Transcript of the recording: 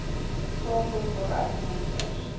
saadlot waaruit monsters